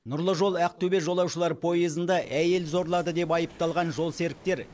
нұрлы жол ақтөбе жолаушылар пойызында әйел зорлады деп айыпталған жолсеріктер